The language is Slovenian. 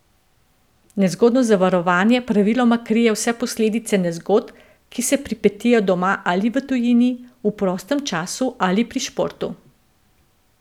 Nezgodno zavarovanje praviloma krije vse posledice nezgod, ki se pripetijo doma ali v tujini, v prostem času ali pri športu.